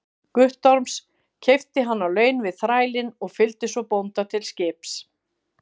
Guttorms, keypti hann á laun við þrælinn og fylgdi svo bónda til skips.